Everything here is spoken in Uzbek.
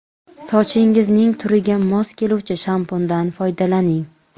Sochingizning turiga mos keluvchi shampundan foydalaning.